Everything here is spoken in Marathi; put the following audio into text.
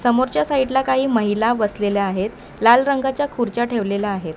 समोरच्या साईड ला काही महिला बसलेल्या आहेत लाल रंगाच्या खुर्च्या ठेवलेल्या आहेत.